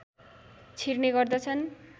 छिर्ने गर्दछन्